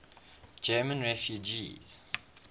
german refugees